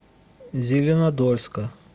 зеленодольска